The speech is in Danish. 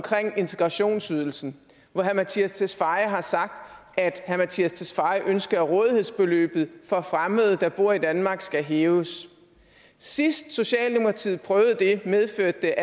integrationsydelsen hvor herre mattias tesfaye har sagt at herre mattias tesfaye ønsker at rådighedsbeløbet for fremmede der bor i danmark skal hæves sidst socialdemokratiet prøvede det medførte